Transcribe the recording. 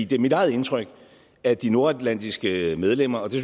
det er mit eget indtryk at de nordatlantiske medlemmer det